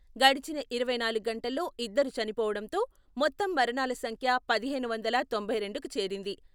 గడిచిన ఇరవై నాలుగు గంటల్లో ఇద్దరు చనిపోవడంతో మొత్తం మరణాల సంఖ్య పదిహేను వందల తొంభై రెండుకి చేరింది.